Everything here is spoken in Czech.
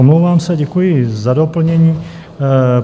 Omlouvám se, děkuji za doplnění.